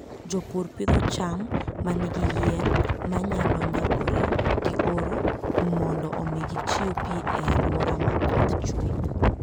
Jopur pidho cham ma nigi yien ma nyalo nyagore gi oro mondo omi gichiw pi e alwora ma koth chue.